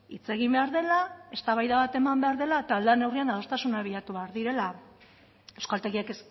hitz egin behar dela eztabaida bat eman behar dela eta lan neurrian adostasunak bilatu behar direla euskaltegiek